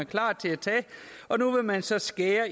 klar til at tage og nu vil man så skære